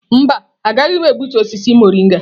Mba, agaghị m egbutu osisi mọrịnga.